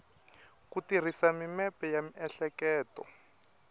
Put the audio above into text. ku tirhisa mimepe ya miehleketo